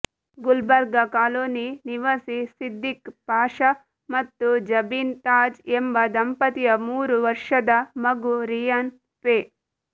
Gulbarga colony ನಿವಾಸಿ ಸಿದ್ದಿಕ್ ಪಾಷಾ ಮತ್ತು ಜಬೀನ್ ತಾಜ್ ಎಂಬ ದಂಪತಿಯ ಮೂರು ವರ್ಷದ ಮಗು ರಿಯಾನ್ ಫೆ